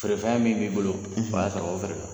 Fee fɛn min b'i bolo o y'a sɔrɔ o feerela.